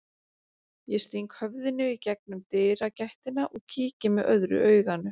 Ég sting höfðinu í gegnum dyragættina og kíki með öðru auganu.